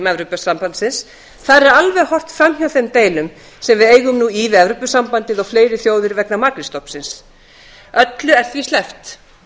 evrópusambandsins þar er alveg horft framhjá þeim deilum sem við eigum nú í við evrópusambandið og fleiri þjóðir vegna makrílstofnsins öllu er því sleppt